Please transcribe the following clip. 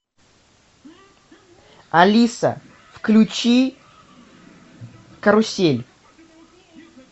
алиса включи карусель